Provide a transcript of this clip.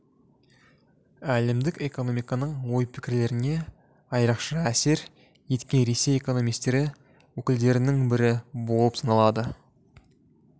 әлемдік экономиканың ой-пікірлеріне айырықша әсер еткен ресей экономистері өкілдерінің бірі болып саналды